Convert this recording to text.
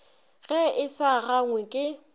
ge e sa gangwe ke